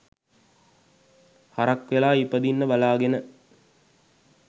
හරක් වෙලා ඉපදින්න බලාගෙන